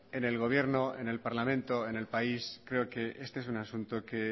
en el gobierno en el parlamento en el país creo que este es un asunto que